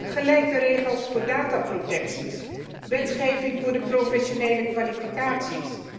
Ook gelijke regels voor databescherming, wetgeving voor professionele kwalificaties.